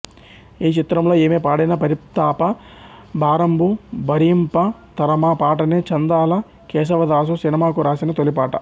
ఈ చిత్రంలో ఈమె పాడిన పరితాప భారంబు భరియింప తరమా పాటనే చందాల కేశవదాసు సినిమాకు రాసిన తొలిపాట